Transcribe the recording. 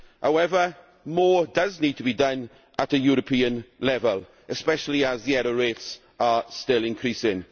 However, more does need to be done at European level, especially as the error rates are still increasing.